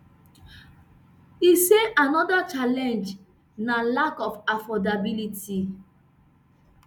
e say anoda challenge na lack of affordability